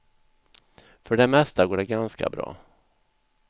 För det mesta går det ganska bra.